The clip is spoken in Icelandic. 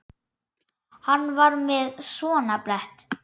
Hann var með svona blett.